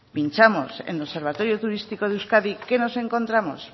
pinchamos en el observatorio turístico de euskadi qué nos encontramos